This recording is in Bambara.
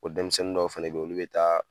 O denmisɛnnin dɔw fɛnɛ be olu be taa